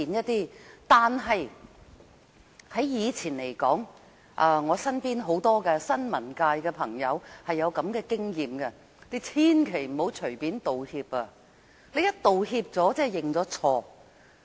但是，從以前的事例中，包括我身邊的新聞界朋友都有類似經驗，便是千萬不要隨便道歉，因為一旦道歉便等於認錯。